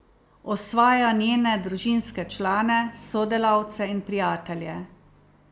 Osvaja njene družinske člane, sodelavce in prijatelje.